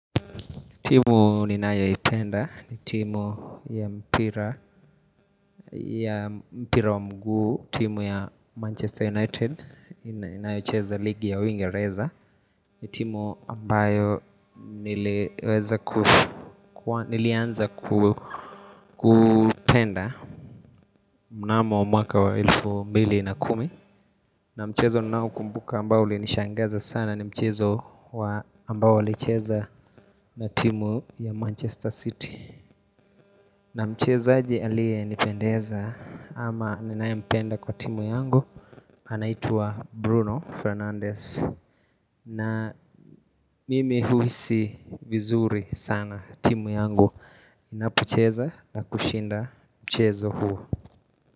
Timu ninayoipenda, ni timu ya mpira wa mguu, timu ya Manchester United, inayocheza ligi ya uingereza ni timu ambayo nilianza kupenda mnamo mwaka wa elfu mbili na kumi na mchezo ninaokumbuka ambao ulinishangaza sana ni mchezo ambao ulicheza na timu ya Manchester City na mchezaji aliyenipendeza ama ninaempenda kwa timu yangu anaitwa Bruno Fernandez na mimi huhisi vizuri sana timu yangu inapocheza na kushinda mchezo huu.